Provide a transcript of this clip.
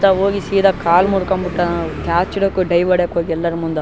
ಇತ್ತ ಹೋಗಿ ಸೀದಾ ಕಾಲ್ ಮುರ್ಕೊಂಡ್ಬಿಟ್ಟ ಕ್ಯಾಚ್ ಹಿಡ್ಯಾಕ್ ಡೈ ಹೊಡ್ಯಾಕ್ ಹೋಗಿ ಯಲ್ಲರ್ ಮುಂದ.